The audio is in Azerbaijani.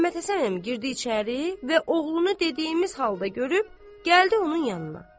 Məmmədhəsən əmi girdi içəri və oğlunu dediyimiz halda görüb gəldi onun yanına.